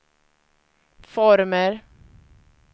former